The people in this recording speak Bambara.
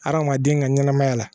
Adamaden ka ɲɛnamaya la